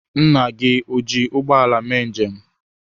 Nna gị o jiri ụgbọ ala ya mee njem?